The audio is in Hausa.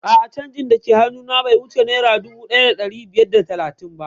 A'a canjin dake hannu na be wuce naira dubu ɗaya da ɗari biyar da talatin ba